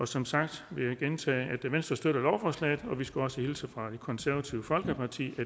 som sagt vil jeg gentage at venstre støtter lovforslaget og vi skulle også hilse fra det konservative folkeparti og